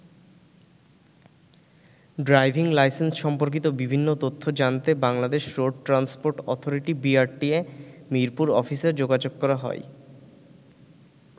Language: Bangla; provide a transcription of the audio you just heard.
ড্রাইভিং লাইসেন্স সম্পর্কিত বিভিন্ন তথ্য জানতে Bangladesh road transport authority BRTA ,Mirpur অফিসে যোগাযোগ করা হয়।